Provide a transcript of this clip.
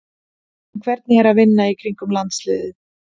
En hvernig er að vinna í kringum landsliðið?